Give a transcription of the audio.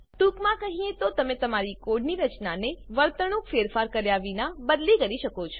ટૂંકમાં કહીએ તો તમે તમારી કોડની રચનાને વર્તણુક ફેરફાર કર્યા વિના બદલી કરી શકો છો